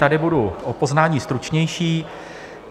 Tady budu o poznání stručnější.